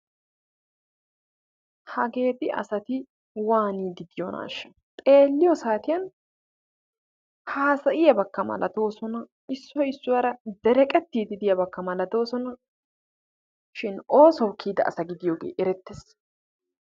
Hageeti asati waaniiddi de"iyonaashsha xeelliyo satiyan haasayiyabakka malatoosona issoyi issuwarakka dereqettiiddi de'iyabakka malatoosona shin oosuwawu kiyida asa gidiyogee erettes.